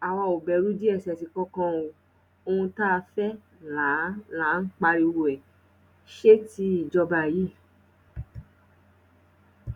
àwa ò bẹrù dss kankan o ohun tá a fẹ là ń là ń pariwo ẹ sétí ìjọba yìí